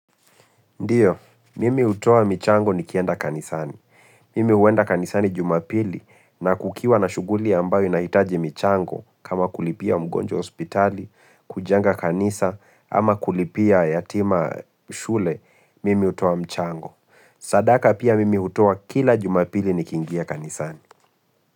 Ndiyo, mimi hutoa michango nikienda kanisani. Mimi huenda kanisani jumapili na kukiwa na shuguli ambayo inahitaji michango kama kulipia mgonjwa hospitali, kujenga kanisa ama kulipia yatima shule, mimi utoa mchango. Sadaka pia mimi utoa kila jumapili nikingia kanisani.